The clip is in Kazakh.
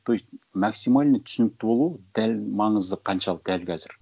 то есть максимально түсінікті болу дәл маңызы қаншалық дәл қазір